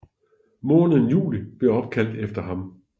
Måneden juli blev opkaldt efter ham